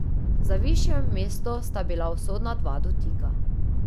Za višje mesto sta bila usodna dva dotika.